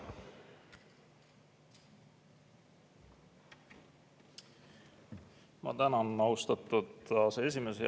Ma tänan, austatud aseesimees!